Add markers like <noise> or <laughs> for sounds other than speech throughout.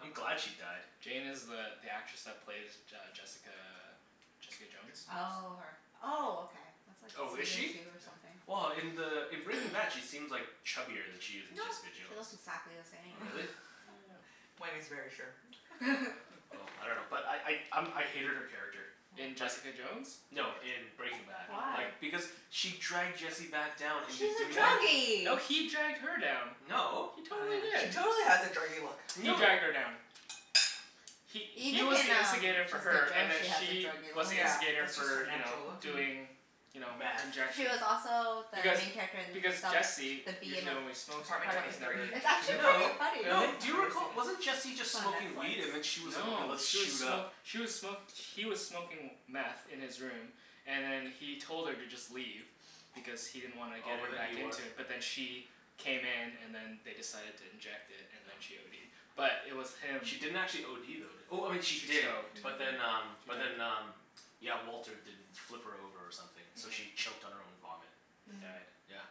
I'm glad she died. Jane is the the actress that plays J- uh, Jessica Jessica Jones? <noise> Oh, her. Oh, okay. That's like Oh, is season she? two or Yeah. something. Well, in the in Breaking Bad <noise> she seems like chubbier than she is in No. Jessica She Jones. looks exactly the <noise> same. Really? Yeah. <laughs> <laughs> Wenny's very sure. Oh, <noise> I <laughs> dunno. But <laughs> I I um I hated her character. In Oh. Just, Jessica Jones, no, or in Breaking Bad. Why? Like, Oh. because she <noise> dragged Jesse back down Well into she's a doing No. meth. No, druggie. he dragged her down. No. He Oh, totally yeah. She did. totally has a druggie look. He No. dragged her down. He he Even was in the um instigator for Jessica her, and Jones then she has a she druggie was look. the Yeah, instigator that's just her for you know, natural look. Mhm. doing you know, Meth. She was injection. also the Because main character in the because Jesse The B in usually Ap- only smokes it, Apartment right? Apartment twenty He's three? never Thirteen. It's injected actually it pretty before? No. funny. No. Really? Do I've you never seen recall, it. wasn't Jesse It's just on smoking weed and then Netflix. she was like, "Okay, No. let's She was shoot smo- up." she was smo- he was smoking meth in his room and then he told her to just leave. Because he didn't wanna Oh, get but her then back he wanted into it. But then she came in and then they decided to inject it, and then she ODed. But it was him She didn't actually OD though, did, oh, she She did. choked. She But then Mhm. um but did. then um yeah, Walter didn't flip her over or something, so Mhm. she choked on her own vomit. And Mm. died. Yeah.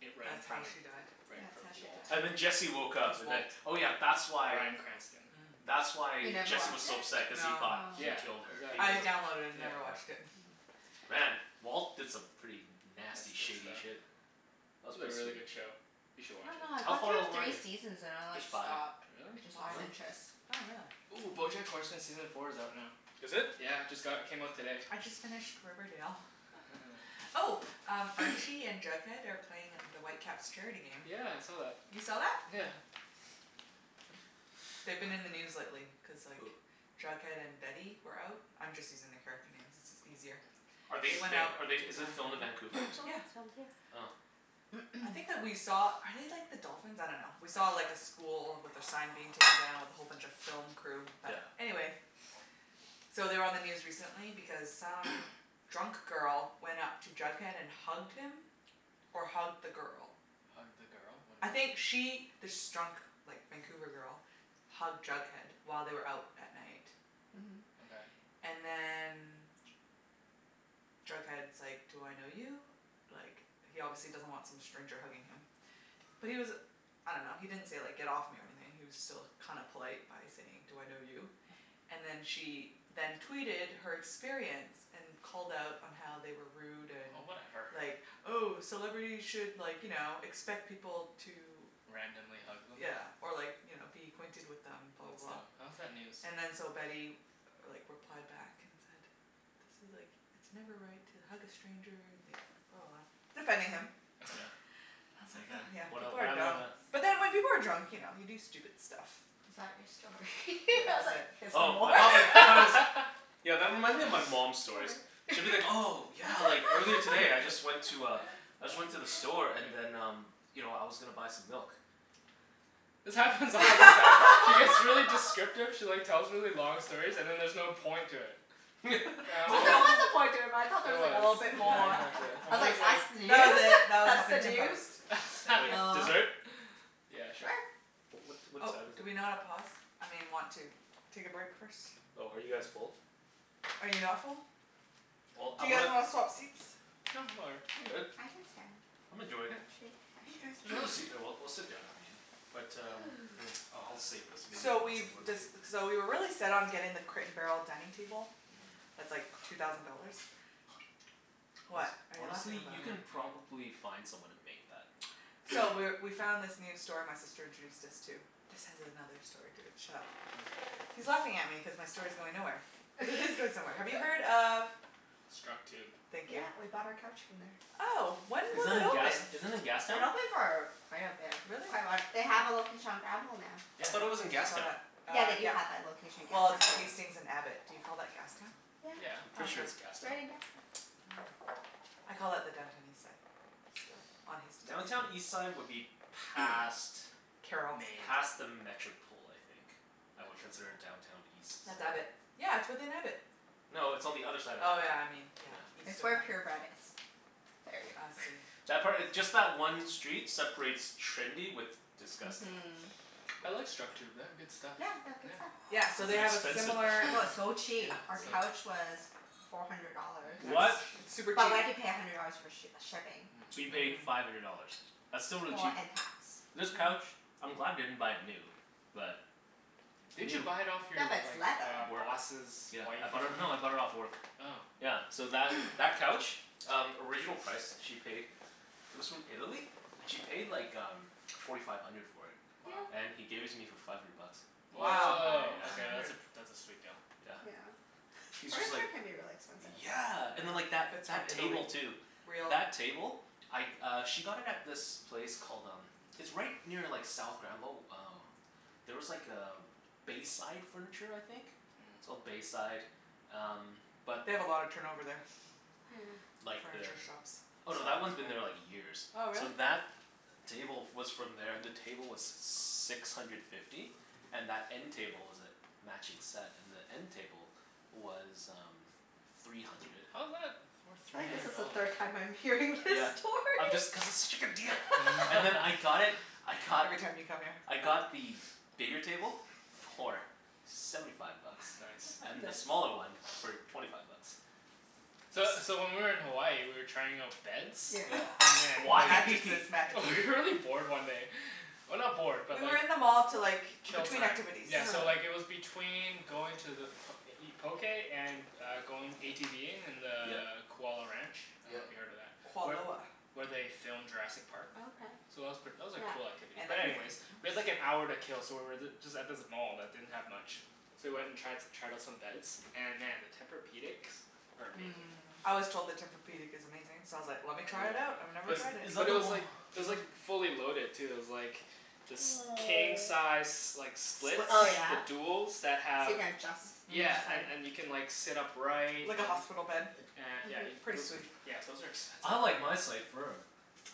It, right in That's how front of, she died? right in That's front how of she Walt. died. And then Jesse woke Who's up and then, Walt? oh yeah, that's why Brian Cranston. Mm. that's You why never Jesse was watched so it? upset cuz he No. thought Oh. he Yeah, killed her, exactly. I because of, downloaded it and Yeah. yeah. never watched it. <laughs> Mm. Man, Walt did some pretty nasty Messed shady up stuff. shit. That It's was a pretty really sweet. good show. You I should watch dunno, it. I How got far through along are three you? seasons and I like There's five. stopped. Really? Just Why? lost Really? interest. Oh, really? Ooh, Bojack Horseman season four is out now. Is it? Yeah, just got, it came out today. I just finished Riverdale. <laughs> <laughs> Oh, <noise> Archie and Jughead are playing at the Whitecaps charity game. Yeah, I saw that. You saw that? Yeah. Yeah. They've been in the news lately cuz like Who? Jughead and Betty were out. I'm just using the character names. It's is easier. <noise> Are they They went out be- to are they, is it filmed in <inaudible> Vancouver, or That show, <noise> something? Yeah. it's filmed here. Oh. I think that we saw, <noise> are they like the dolphins? I dunno. We saw like a school with their sign being taken down with a whole bunch of film crew. But, Yeah. anyway So they were on the news recently because some <noise> drunk girl went up to Jughead and hugged him or hugged the girl. Hugged the girl? What I do you mean? think she this drunk like Vancouver girl hugged Jughead while they were out at night. Mhm. Okay. And then Jughead's like, "Do I know you?" Like, he obviously doesn't want some stranger hugging him. But he was I dunno, he didn't say like, "Get off me," or anything. He was still kinda polite by saying, "Do I know you?" And then she then tweeted her experience. And called out on how they were rude and Oh, whatever. <noise> like, "Oh, celebrities should like, you know, expect people to" Randomly hug them? yeah, or like you know, "be acquainted with them," blah, That's blah, dumb. blah. How is that <noise> news? And then so Betty like replied back and said "This is like, it's never right to hug a stranger," and like blah, blah, blah. Defending him. Yeah. I was And like then? huh, yeah, What el- people what are happened dumb. after that? But then when people are drunk, you know, you do stupid stuff. Is that your story? <laughs> Yeah. I That was was like, it. "Is there Oh, more?" I <laughs> All thought like, I thought it was right. Yeah, that reminds me of my mom's <laughs> stories. She'll be like, "Oh, <laughs> yeah, like earlier today I just went to a <laughs> I just went to the store and then um you know, I was gonna buy some milk." This happens all the time. She gets really <laughs> descriptive she like tells really long stories, and then there's no point to it. And <laughs> I'm Well, always there was a <laughs> point to it but I thought there There was like a was. little <laughs> bit Yeah, more. exactly. Yeah. I I'm was always like, like "That's That was news? it. That was That's the Huffington news?" Post. Yeah. Thank Like, you. <laughs> Oh. dessert? Yeah, sure. Sure. Oh, what what Oh, time is do it? we not a pause? I mean want to take a break first? Oh, are you guys full? Are you not full? Well, Do I you guys wanna wanna swap seats? No, I'm all right. I'm good. I can stand. I'm Actually, enjoying it. Mkay. There's I another should stand. seat there. <noise> We'll we'll sit down <inaudible> But um, hmm, Ooh. uh I'll save this. Maybe So I'll have we've some more later. dec- so we were really set on getting the Crate and Barrel dining table. Mhm. That's like two thousand dollars. <noise> Hone- What are you laughing honestly? about? You can <inaudible> probably find someone to make that. So, <noise> we're we found this new store my sister introduced us to. This has another story to it. Shut up. Okay. He's laughing at me cuz my story's going nowhere. But it is going somewhere. Have you heard <laughs> of Structube. Thank you. Yeah, we bought our couch from there. Oh, when Is was that it in gas, open? is that in It's Gastown? been open for quite a bit. Really? Quite a while. They have a Yeah. location on Granville now. I thought it was Yeah. in I saw Gastown. that, Yeah, uh, they do yeah. have that location in Well, Gastown it's too. Hmm. Hastings and Abbott. Do you call that Gastown? Yeah. Yeah. Oh, Pretty sure okay. it's Gastown. Right in Gastown. Oh. I call it the Downtown Eastside, still, on Hastings. Downtown Eastside would be <noise> past Carrall. Main. past the Metropol, I think. I would consider Metropol? Downtown East- That's Abbott. Yeah, it's within Abbott. No, it's on the other side of Oh Abbott. yeah, I mean, yeah. Yeah. East It's of where that. Pure Bread is. Yeah. There ya I go. see. <noise> That part, just that one street separates trendy with disgusting. Mhm. I like Structube. They have good stuff. Yeah, they have good stuff. Yeah. Yeah, so Was they it have a expensive, similar though? No, <noise> it's so Yeah, cheap. Our it's like Really? couch was four hundred dollars. Yeah, Nice. they're What? cheap. It's super But cheap. we had to pay a hundred dollars for sh- shipping. So you Mm. paid Mhm. five hundred dollars? That's still really Well, cheap. and tax. Yeah. This couch, I'm glad I didn't buy it new. But Didn't you new buy it off Yeah, your but it's like leather. Work. boss's Yeah. I wife or bought it, no, I bought it off something? work. Oh. Yeah, so that <noise> that couch? Um, original price she paid it was from Italy and she paid like um forty five hundred for it. Wow. Yeah. And he gave it to me for five hundred bucks. Nice Wow. Woah, surprise. Yeah. Five okay that's hundred. a pr- that's a sweet deal. Yeah. Yeah. He was just like, Furniture can be really expensive. yeah and then Mhm. like that If it's from that Italy. table, too. Real. That table? I uh she got it at this place called um it's right near like South Granville. Oh there was like a Bayside Furniture, I think? It's Mm. called Bayside, um but They have a lot of turnover there. Yeah. Like the, Furniture shops. oh, no, that one's been there <inaudible> like years. Oh, really? So that table f- was from there. The table was six hundred fifty. And that end table was a matching set. And the end table was um three hundred. How's that worth I three think this hundred is the dollars? third time I'm hearing this Yeah. I'm story. just, cuz it's such a good deal! And then I <laughs> got it, <laughs> I got Every time you come here. I got the bigger table for seventy five bucks. It's nice. And the Nice. <laughs> smaller one for <noise> twenty five bucks. So so when we were in Hawaii we were trying out beds Yeah. and then Why? <laughs> <laughs> Mattresses. Mattresses. We were really bored one day. Well, not bored, but We were like in the mall to like, Kill between time. activities. Yeah, Yeah. so uh-huh. like it was between going to the p- to eat poké and uh going ATVing in the Yeah. Kualoa Ranch. I Yeah. dunno if you've heard of that? Where Kualoa. where they filmed Jurassic Park. Oh, okay. So that was pret- that was a Yeah. cool activity, And but anyways we had like an everything hour to else. <noise> kill so we were th- just at this mall that didn't have much. So we went and tri- tried out some beds. And man, the Tempur-pedics are amazing. Mmm. I was told the Tempur-pedic is amazing, so I was like, I "Let me really try want it out. one. I've never Is But tried it." is that but it the was o- like, it is was that like fully loaded, too. It was like this king <noise> size s- like split Split Oh King. the yeah? duals that So you have can adjust Mhm. each Yeah, and side. and you can like sit upright and Like a hospital <noise> bed. a- yeah Mhm. you Pretty sweet. c- those are <noise> expensive, "I like though. my side firm."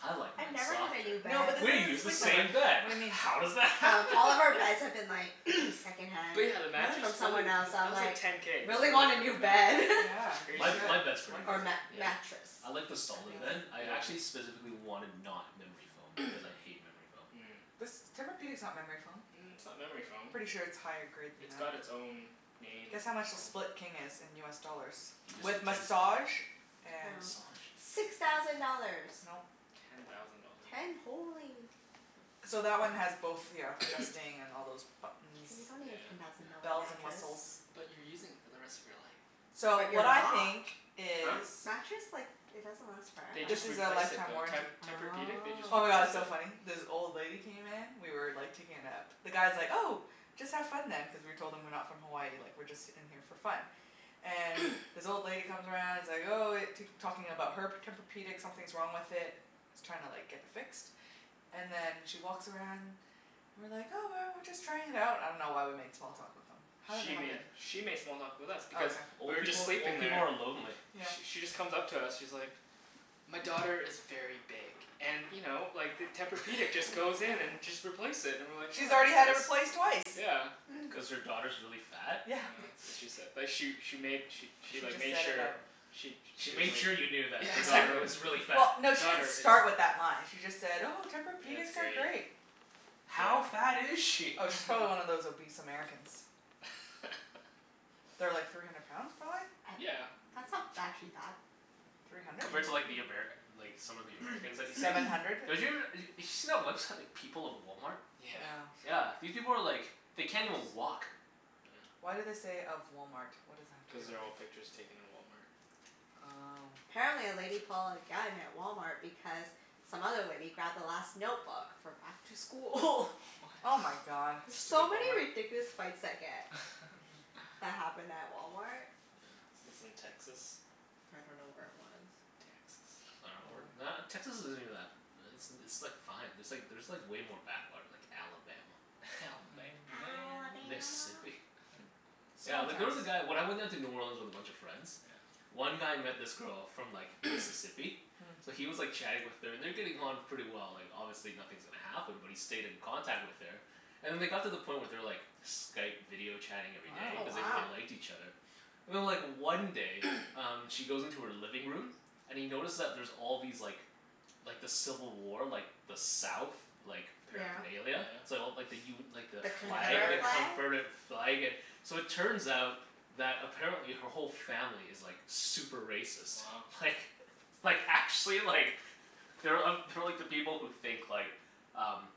"I like I've mine never had softer." a new No bed. but this We use isn't the Sleep Number. same bed. What do you mean? How does that Um, happen? all of our beds have <laughs> been <laughs> like <noise> second hand But yeah the Really? mattress, from holy, someone else, so that I'm was like like ten k, just really for a want a new frickin' bed. mattress. Yeah, <laughs> you Crazy. My my should. bed's It's pretty worth Or it. amazing. mat- Yeah? mattress. I like the That piece. solid bed. Yeah. I actually Yeah. specifically wanted not memory foam, cuz I hate memory foam. Mm. This, Tempur-pedic's not memory foam. Mm, it's not memory foam. Pretty sure it's higher grade than It's got that. it's own named Guess how much the foam. Split King is in US dollars? He just said With ten massage and Oh. Massage? Six thousand dollars! Nope. Ten thousand dollars. Ten? Holy. So that one has <noise> both, ya know, <noise> adjusting, and all those K, buttons. you don't need Yeah. a ten thousand dollar Yeah. Bells and mattress. whistles. But you're using it for the rest of your life. So, But you're what I not. think is Huh? Mattress like, it doesn't last They This forever. just is a replaced it, lifetime though. Te- warranty. Tempur-pedic, they just Oh Oh. my god, it's replaced so funny. it. This old lady came in we were like taking a nap. The guy's like, "Oh, just have fun then" cuz we told him we're not from Hawaii. Like we're just in here for fun. And <noise> this old lady comes around and is like, "Oh," tak- talking about her p- Tempur-pedic. Something's wrong with it. She's trying like to get it fixed. And then she walks around and we're like, "Oh, well, we're just trying it out." I dunno why we made small talk with them. How did that She happen? made she made small talk with us Oh, because okay. we Old were just people, sleeping old people there are lonely. Yeah. Sh- she just comes up to us. She's like "My daughter is very big and you know, like the Tempur-pedic just <laughs> goes in and just replace it." And we're like, She's "Oh, that's already had it nice." replaced twice. Yeah. Mm. Cuz her daughter's really fat? Yeah, Yeah. <noise> that's what she said. <laughs> But she she made she she She like just made said it sure out she She she was made like, sure you knew that yeah, her daughter Yeah. exactly. was really fat. Well, no, she didn't Daughter is start with that line. She just said, "Oh, It's Tempur-pedics are great. great." How fat is Yeah. she? Oh, she's probably one of those <laughs> obese Americans. <laughs> They're like three hundred pounds, prolly? A- Yeah. that's not actually bad. Three hundred? Compared to like the <inaudible> Amer- like some of the Americans that you see? Seven <noise> hundred. They're us- d- did you see that website People of Walmart? Yeah. Yeah. Yeah. These people are like, they can't even walk. <noise> Why do they say, "of Walmart?" What does that have to do Cuz they're with all it? pictures taken in Walmart. Oh. Apparently a lady pulled a gun at Walmart because some other lady grabbed the last notebook for back to school. <laughs> Oh my What? god. There's Stupid so many Walmart. ridiculous fights that get Mhm. that <laughs> happen at Walmart. Yeah. This is in Texas? I don't know where it was. I Texas. dunno. Or Probably. not, Texas isn't even that, it's it's like fine. There's like there's like way more backwater, like Alabama. <laughs> Alabama Mm. man. Alabama. Mississippi. <laughs> Yeah, Small like there was towns. a guy, when I went down to New Orleans with a bunch of friends Yeah. one guy met this girl from like <noise> Mississippi. Mm. So Mm. he was like chatting with her. And they're getting on pretty well. Like, obviously nothing's gonna happen, but he stayed in contact with her. And then they got to the point where they were like Skype video chatting every day Oh, cuz they Wow. wow. really liked each other. And then like one day <noise> um she goes into her living room and he notices that there's all these like like the civil war, like the south like Yeah. Oh yeah? paraphernalia. So like the u- like the The flag, the Confederate Confederate. flag? confederate flag and So it turns out that apparently her whole family is like super racist. Wow. Like, like actually like they're uh they're like the people who think like um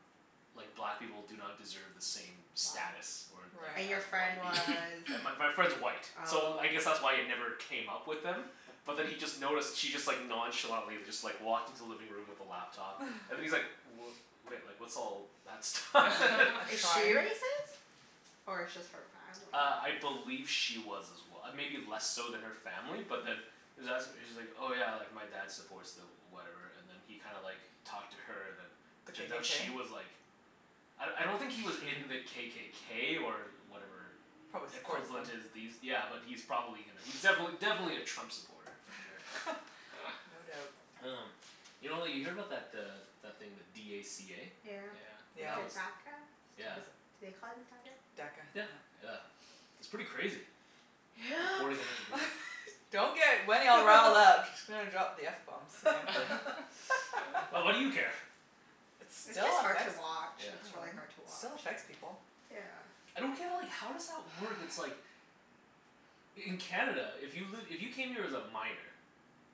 like black people do not deserve the same Wow. status. Or or And your as Right. friend white was people. And my <noise> my friend's white, so Oh. I guess that's why it never came up with them but then he just noticed she just like nonchalantly just like walked into the living room with the laptop <laughs> and he's like, "W- wait, like what's all that stuff?" <laughs> A <laughs> Is she shrine. racist? Or it's just her family? Uh, I believe she was as well. Maybe less so than her family but then he was as- she's like, "Oh yeah, like my dad supports the whatever," and then he kinda like talked to her and then The turns out KKK? she was like I I don't think he was in the <laughs> KKK or whatever Probably supports them. equivalent is these, yeah but he's probably gonna, he's <noise> <noise> defin- definitely a Trump supporter, for sure. <laughs> <laughs> No doubt. Um, you know like you hear about that uh that thing, the d a c a? Yeah, Yeah. But Yeah. the that DACA? was, yeah. Was <inaudible> it, do they call it DACA? DACA, Yeah. yeah. Yeah. It's pretty crazy. Yep. <noise> Deporting a bunch of people. <laughs> Don't get Wenny all riled up. <laughs> She's gonna drop the f bomb soon. <laughs> <laughs> <laughs> <noise> Well, what do you care? It It's still just hard to affects, watch. I Yeah. It's really dunno. hard to It still watch. affects people. Yeah. I don't get like, how does that work? It's like In Canada, if you've li- if you came here as a minor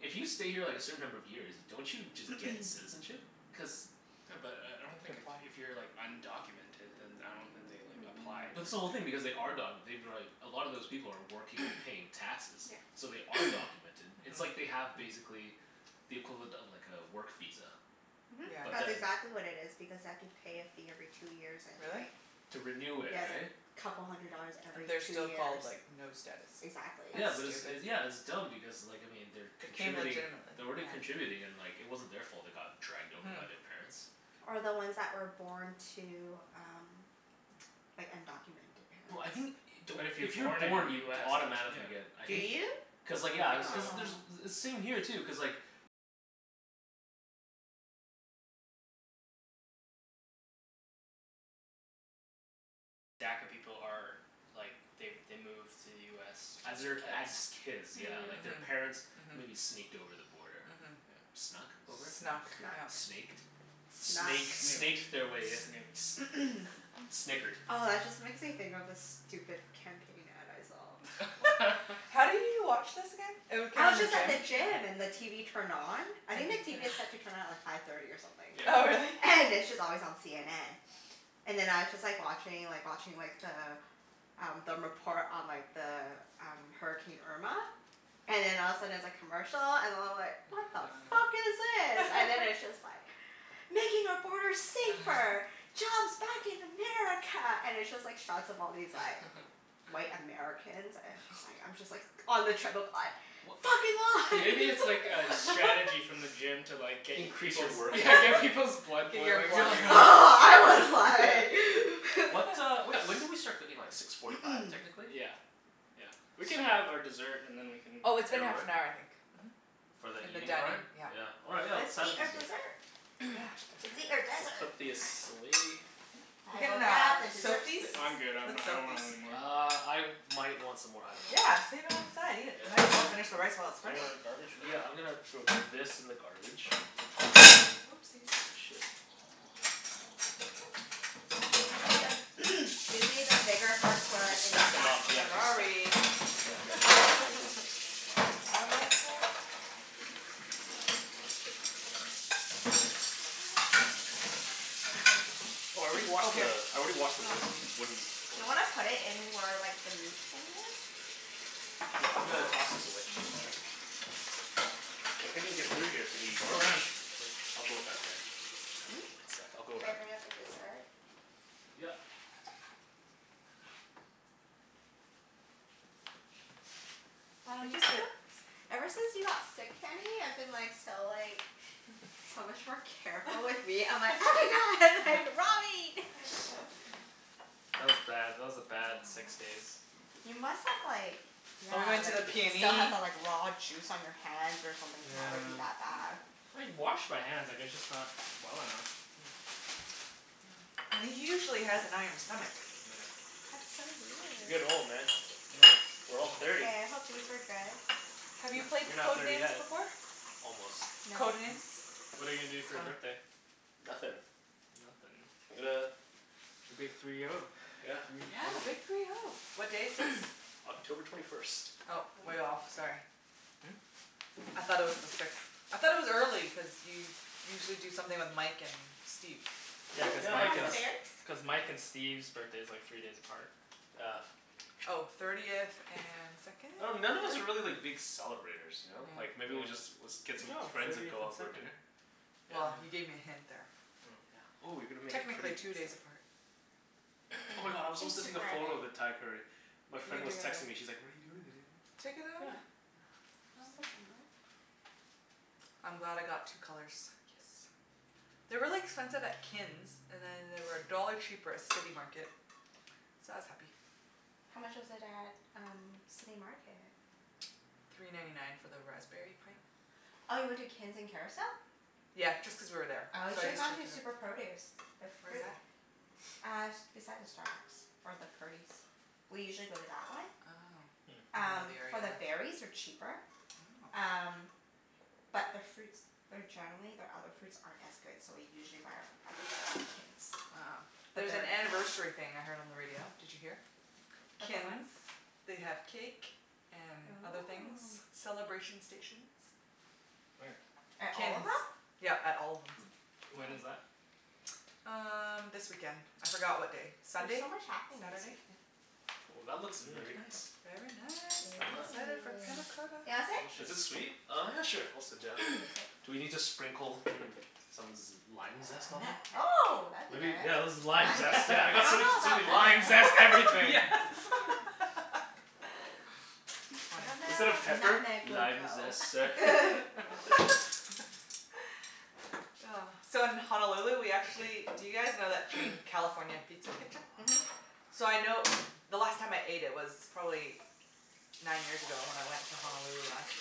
if you stay here like a certain number of years, don't you just get <noise> citizenship? Cuz Yeah, but I I You don't have to think if apply. if you're like undocumented then I don't think they like applied Mhm. or But this whole thing, anything. because they are documented. They've been like, a lot of those people are working, they're <noise> paying taxes. Yeah. So they are <noise> documented. It's like Mhm. they have, basically the equivalent of like a work visa. Mhm. Yeah. But That's then exactly what it is because they have to pay a fee every two years and Really? like To renew it, Yeah, it's like right? couple hundred dollars Mm. And every they're two still years. called, like, no status. Exactly. Yeah That's but it's stupid. it, yeah it's dumb because like I mean, they're They came contributing legitimately. they're already contributing and like it wasn't their fault they got dragged over Mhm. by their parents. Or the Mm. ones that were born to um <noise> like undocumented No, I think, parents. don't, But if you're if you're born in born you US don't y- automatically get yeah. I Do think you? I cuz like would yeah. think Cuz so. Oh. there's, same here too, cuz like As their, as kids, yeah. Like, Hmm. their Yeah. Mhm. parents maybe Mhm. sneaked over the border. Mhm. Yeah. Snuck over? Snuck. Snuck, Snuck. yeah. Snaked? Snuck. Snake Snooked. snaked their way in. S- Snooked. <noise> <noise> snickered. Oh, that just makes me think of this stupid campaign ad I saw. What? <laughs> <laughs> How do you watch this again? It w- came I in was the just At at the the gym? gym. gym and the TV turned on. I think And the you couldn't TV is set to turn on at like five thirty or something. Oh, really? Yeah. And it's just always on CNN. And then I was just like watching like watching like the um the report on like the um, Hurricane Irma. And then all of a sudden it's a commercial, and I'm like "What the fuck <laughs> is this?" And then <noise> it's <laughs> just like "Making our borders safer!" <laughs> "Jobs back in America!" And it's just like shots of all these like <laughs> white Americans and it's just like, I'm just like on the treadmill like <noise> W- "Fucking Maybe it's <laughs> like a lies!" strategy <laughs> from the <laughs> gym to like get y- Increase your people's workout, Yeah, <laughs> yeah. get people's blood Get your boiling You're blood like <inaudible> <laughs> I was <noise> Yeah. like <laughs> What uh, wh- <noise> when <laughs> did we start cooking? Like six forty five <noise> technically? Yeah. Yeah. We can So have our dessert and then we can Oh, it's been Head half over? an hour, I think. Mhm. For the And the eating dining, part? yeah. Yeah, all right let's Let's eat our <inaudible> dessert. <noise> Yeah, Let's eat our Dessert. desserts. We'll desert. put this away. We I will can grab uh the dessert soak these? spoons. I'm good. I'm n- Let's I soak don't these. want anymore. Uh, I might want some more. I dunno. Yeah, save it on the side. Eat it. Yeah. Might as well finish the rice while it's Is fresh. Hold there on. a garbage for Yeah, that? I'm gonna throw this in the garbage. Whoopsies. Oh shit. Susie the <noise> Susie, the bigger forks were Just in the stack 'em back up. Yeah, corner. just stack Sorry. <laughs> Yeah, yeah. <inaudible> I messed up. Oh, I already Oh, washed the, here. I already washed the Oh. wood Do wooden board. you wanna put it in where like the meat thing is? Yeah, I'm gonna Hmm? toss this away. Yeah. <inaudible> I can't even get through here to the Go garbage. around. I'll go around there. Hmm? One sec. I'll go Should I around. bring out the dessert? Yep. Why I've don't you just sit? felt Ever since you got sick, Kenny, I've been like so like <laughs> so much more careful with meat. I'm like, "Oh my god, <laughs> like <noise> raw meat." <laughs> <laughs> That was bad. That was a bad six Oh. days. You must have like yeah, And we Help. went to like the still have PNE. the like raw juice on your hands or something to have it be Yeah. that bad. I washed my hands. I guess just not well enough. Hmm. <noise> And he usually has an iron stomach. Oh yeah. That's so You're weird. getting old, man. Mm, We're all mm. thirty. Hey, I hope these are good. Have you Heh. played You're not Code thirty Names yet. before? Almost. No. Code Names? What are you gonna do It's for your fun. birthday? Nothin'. Nothin'? I'm gonna The big three <noise> oh. Yeah. Three Yeah, big oh. three oh. What day is sixth? <noise> October twenty first. Oh, Ooh. way off. Sorry. Hmm? I thought it was the sixth. I thought it was early cuz you usually do something with Mike and Steve. Yeah, cuz Can Yeah, I Mike like pass and the a berries? S- cuz Mike and <noise> Steve's birthday's like three days apart. Yeah. Oh. Thirtieth and second, I dun- none of us third? are really like big celebrators, ya know? Like Yeah. maybe we just, was, Yeah. get Good some job. friends and Thirtieth go and out for a second. dinner. Well, Yeah. you Yeah. gave me a hint there. Oh. Yeah. Ooh you're gonna make it pretty Technically and two days stuff. apart. Oh my <noise> god, I was supposed to take a photo <inaudible> of the Thai curry. My You can friend was texting me, <inaudible> she's like, "What are you doing today?" Take another Yeah. one. Yeah. <noise> <inaudible> I'm glad I got two colors. Yes. They're really expensive at Kin's, and then they were a dollar cheaper at City Market. So I was happy. How much was it at um City Market? Three ninety nine for the raspberry Oh. pint. Oh, you went to Kin's in Kerrisdale? Yeah, just cuz we were there. Oh, you So I should have just gone checked to it out. Super Produce. Their Where's fruit that? <noise> Uh, s- beside the Starbucks or the Purdy's. We usually go to that one. Oh. Hmm. I don't know Um, the area for the enough. berries are cheaper. Oh. Um, but their fruits they're generally, their other fruits aren't as good, so we usually buy our other fruits at Kin's. Oh. But There's an their anniversary thing I heard on the radio. Did you hear? About what? Kin's. They have cake and other things. Oh. Celebration stations. Where? At At all of Kin's. them? Yep, at all of them. When is Oh. that? <noise> Um, this weekend. I forgot what day. There's Sunday? so much happening this Saturday? weekend. Ooh, that looks Mmm. very nice. Very nice. Well I'm done. excited for panna Yeah. cotta. Do you wanna sit? Is it Delicious. sweet? Oh yeah, sure. I'll sit down. You <noise> can sit. Do we need to sprinkle, mm, some z- lime zest on there? Nutmeg. Oh, that'd be Maybe, good. yeah that's the lime Nutmeg? zest. Yeah, I I got so much, dunno so many about <laughs> limes. Lime Nutmeg. zest Yeah. everything! <laughs> <laughs> I Funny. Instead dunno of if pepper. nutmeg will "Lime go. zest, sir?" <laughs> <laughs> <laughs> Oh. So, in Honolulu we Thank actually, do you guys know that you. chain, <noise> California Pizza Kitchen? Mhm. So I know, the last time I ate it was probably nine years ago, when I went to Honolulu last.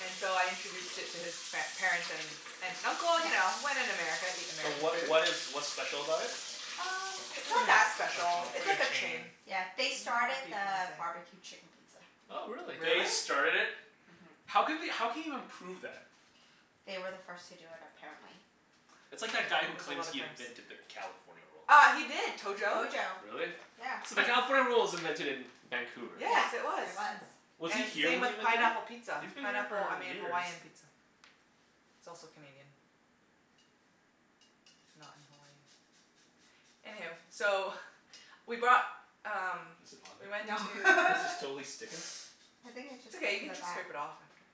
And so I introduced it to his par- parents, and aunt and uncle. You Yeah. know, when in America eat So American what food. what is what's special about it? Um, It's it's not not really that special. special. It's It's like like a a chain. chain. Yeah. Can They you not started repeat what I the say? barbecue chicken pizza. Oh, really? Really? They started it? Mhm. How can we how can you even prove that? They were the first to do it, apparently. That's Oh, like that guy who there's a claims lot of he claims. invented the California Roll. Uh, he did. Tojo. Tojo. Really? Yeah. So the <laughs> California Roll was invented in Vancouver. Yeah, Yes, it was. there was. Hmm. Was he And here same when he with invented pineapple it? pizza. He's been here Pineapple, I for mean years. Hawaiian pizza. It's also Canadian. Not in Hawaii. Anyhoo, so <noise> we bought um Is it on we went No. to there? This is <laughs> totally sticking. I think it's It's just stuck okay. You to can the just back. scrape it off after.